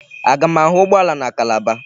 Aga m ahụ ụgbọala na Calabar?